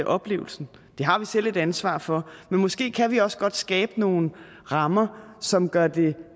oplevelsen det har vi selv et ansvar for men måske kan vi også godt skabe nogle rammer som gør det